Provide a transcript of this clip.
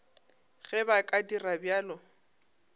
ge ba ka dira bjalo